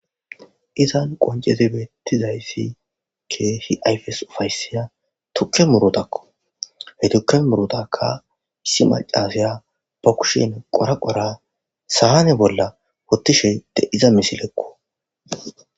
Izan qoncetibeettizayssi keehi ayfes ufaysiya tukke murutakko he tukke murutakka issi macasaya ba kushin qora qora saane bolla wottishe deiza misilekko.